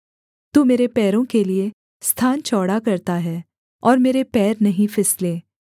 तू मेरे पैरों के लिये स्थान चौड़ा करता है और मेरे पैर नहीं फिसले